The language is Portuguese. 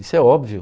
Isso é óbvio.